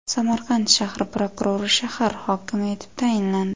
Samarqand shahri prokurori shahar hokimi etib tayinlandi.